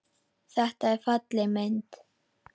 Þetta er falleg mynd.